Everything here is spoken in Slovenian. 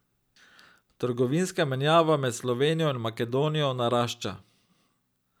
Trgovinska menjava med Slovenijo in Makedonijo narašča.